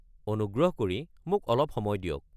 অনুগ্ৰহ কৰি মোক অলপ সময় দিয়ক।